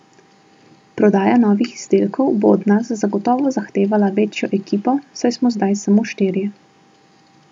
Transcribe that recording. Prodaja novih izdelkov bo od nas zagotovo zahtevala večjo ekipo, saj smo zdaj samo štirje.